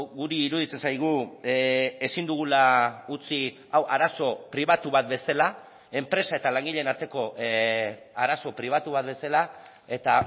guri iruditzen zaigu ezin dugula utzi hau arazo pribatu bat bezala enpresa eta langileen arteko arazo pribatu bat bezala eta